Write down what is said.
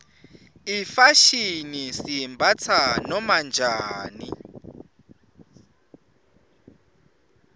ifashini siyimbatsa noma njani